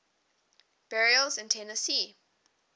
burials in tennessee